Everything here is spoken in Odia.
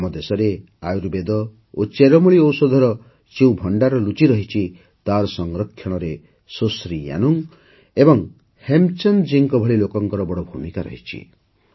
ଆମ ଦେଶରେ ଆୟୁର୍ବେଦ ଓ ଚେରମୂଳି ଔଷଧର ଯେଉଁ ଭଣ୍ଡାର ଲୁଚି ରହିଛି ତାର ସଂରକ୍ଷଣରେ ସୁଶ୍ରୀ ୟାନୁଙ୍ଗ ଓ ହେମଚନ୍ଦ ଜୀଙ୍କ ଭଳି ଲୋକଙ୍କର ବଡ଼ ଭୂମିକା ରହିଛି